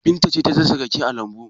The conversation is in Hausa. Binta ce ta dasa rake a lambu.